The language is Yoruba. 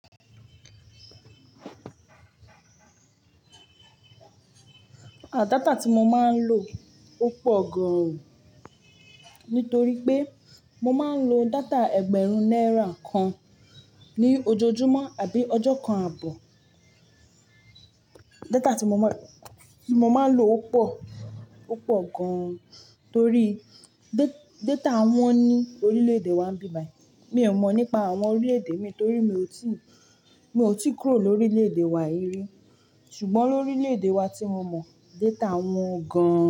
À, data tí mo máa ń lò ó pọ̀ gan, nítorí pé mo máa ń lo data ẹgbẹ̀rún náírà kan ní ojoojúmọ́ àbí ọjọ́ kan àbọ̀. Data tí mo máa, tí mo máa ń lò ó pọ̀, ó pọ̀ gan torí da-data wọ́n ní orílẹ̀-èdè wa ń bíbai. Mi ò mọ̀ nípa àwọn orílẹ̀-èdè mi torí mi ò tí, mi ò tí kúrò lóri orílẹ̀-èdè wa yí rí. Ṣùgbọ́n lórílẹ̀-èdè wa tí mo mọ̀, data wọ́n gan-an.